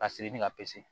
Ka siri ni ka pise